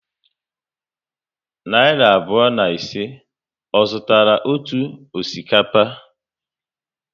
Narị abụọ na ise, ọ zụtara otu akpa osikapa?